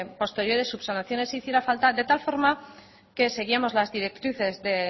posteriores subsanaciones si hiciera falta de tal forma que seguíamos las directrices de